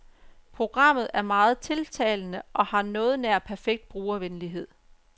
Programmet er meget tiltalende og har noget nær perfekt brugervenlighed.